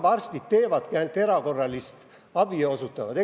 Hambaarstid ju ainult erakorralist abi osutavadki.